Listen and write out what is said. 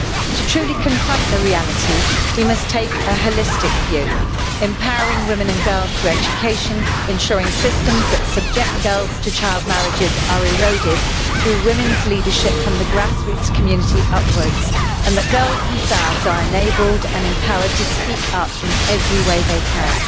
To truly confront the reality, we must take a holistic view, empowering women and girls through education, ensuring that systems that subject girls to child marriages are eroded through women's leadership from the grassroots community upwards and that girls themselves are enabled and empowered to speak up in every way they can.